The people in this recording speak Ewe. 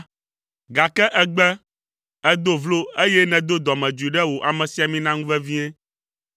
Gake ègbe, èdo vlo, eye nèdo dɔmedzoe ɖe wò amesiamina ŋu vevie.